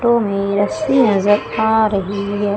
Photo में रस्सी नजर आ रही है।